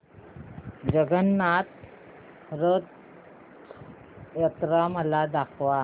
जगन्नाथ रथ यात्रा मला दाखवा